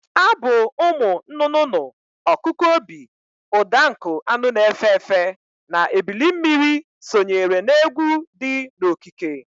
Abụ ụmụ nụnụnụ, ọkụkụ obi, ụda nkụ anụ na-efe efe na ebilimmiri sonyere na egwụ di n'okike.